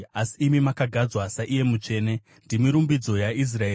Asi imi makagadzwa saIye Mutsvene; ndimi rumbidzo yaIsraeri.